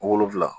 Wolonfila